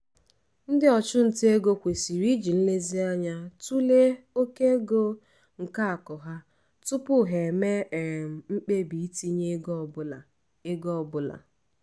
ndị ọchụnta ego kwesịrị iji nlezianya tụlee oke ego nke akụ ha tupu ha eme um mkpebi itinye ego ọ bụla. ego ọ bụla.